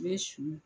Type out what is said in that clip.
I bɛ su